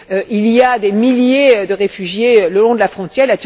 Il y a des milliers de réfugiés le long de la frontière.